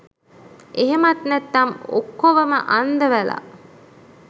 එහෙමත් නැත්නම් ඔක්කොවම අන්දවලා